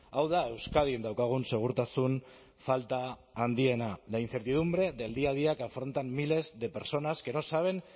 hau da euskadin daukagun segurtasun falta handiena la incertidumbre del día a día que afrontan miles de personas que no saben